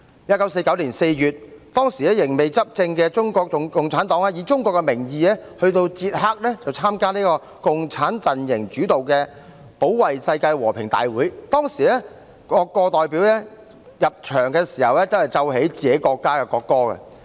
1949年4月，仍未執政的中國共產黨以中國的名義到捷克參加共產陣營主導的保衞世界和平大會，當時各國代表團入場時均奏本國國歌。